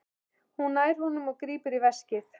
Hún nær honum og grípur í veskið.